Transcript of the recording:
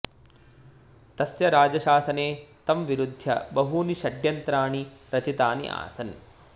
तस्य राजशासने तं विरुध्य बहूनि षड्यन्त्राणि रचितानि आसन्